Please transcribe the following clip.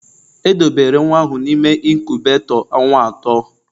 Edobere nwa ahụ n'ime inkubetoo ọnwa atọ